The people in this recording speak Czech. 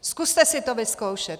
Zkuste si to vyzkoušet.